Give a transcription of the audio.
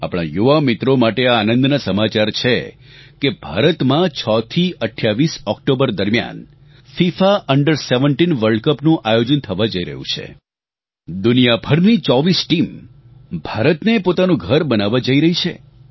આપણાં યુવામિત્રો માટે આ આનંદના સમાચાર છે કે ભારતમાં 6 થી 28 ઓક્ટોબર દરમ્યાન ફિફા અંડર 17 વર્લ્ડ કપનું આયોજન થવા જઇ રહ્યું છે દુનિયાભરની 24 ટીમ ભારતને પોતાનું ઘર બનાવવા જઇ રહી છે